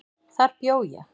Þar bjó ég.